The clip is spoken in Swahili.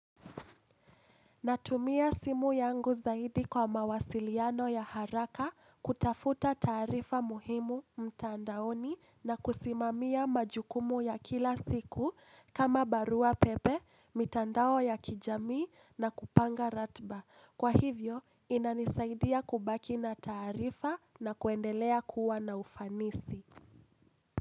Natumia simu yangu zaidi kwa mawasiliano ya haraka kutafuta taarifa muhimu mtandaoni na kusimamia majukumu ya kila siku kama barua pepe, mitandao ya kijamii na kupanga ratiba. Kwa hivyo, inanisaidia kubaki na taarifa na kuendelea kuwa na ufanisi.